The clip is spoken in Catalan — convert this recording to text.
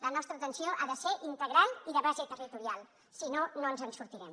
la nostra atenció ha de ser integral i de base territorial si no no ens en sortirem